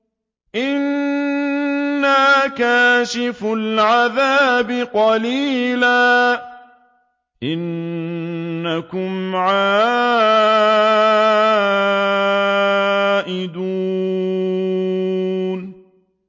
إِنَّا كَاشِفُو الْعَذَابِ قَلِيلًا ۚ إِنَّكُمْ عَائِدُونَ